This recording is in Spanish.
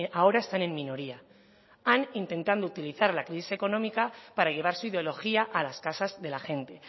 ahora están en minoría han intentado utilizar la crisis económica para llevar su ideología a las casas de la gente